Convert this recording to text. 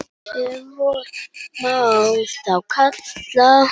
Ef vor má þá kalla.